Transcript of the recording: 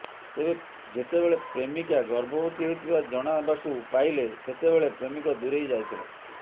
ତେବେ ଯେତେବେଳେ ପ୍ରେମିକା ଗର୍ଭବତୀ ହୋଇଥିବା ଜଣାବାକୁ ପାଇଲେ ସେତେବେଳେ ପ୍ରେମିକ ଦୂରେଇ ଯାଇଥିଲା